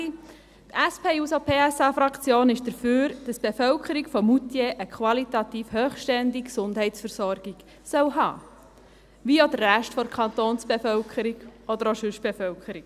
Die SP-JUSO-PSA-Fraktion ist dafür, dass die Bevölkerung von Moutier eine qualitativ hochstehende Gesundheitsversorgung haben soll, wie auch der Rest der Kantonsbevölkerung oder auch die sonstige Bevölkerung.